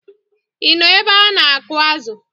Ị nọ ebe a na-akụ̀ azụ̀?